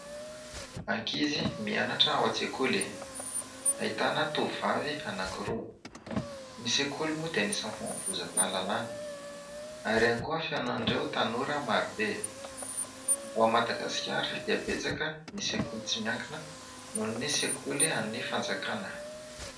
Ankizy mianatra ao an-tsekoly. Ahitana tovovavy anankiroa. Ny sekoly moa dia anisan'ny fanovozam-pahalalana ary ihany koa fihaonan'ireo tanora maro be. Ao Madagasikara dia betsaka ny sekoly tsy miankina noho ny sekoly an'i fanjakana.